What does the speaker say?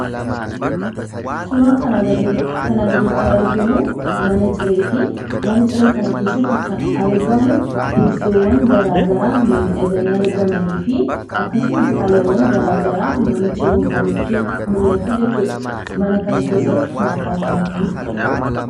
Suuraan kana gaditti argamu kun mana cireetii, teessoowwan garaa garaa miidhaganii argamanii fi akkasumas faayyawwaan addaa addaa manicha keessatti ni mul'atu jechuu dha. Mana kana keessatti nyaaata akkam akkamiitu qopha'a?